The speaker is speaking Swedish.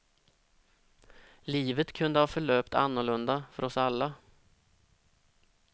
Livet kunde ha förlöpt annorlunda, för oss alla.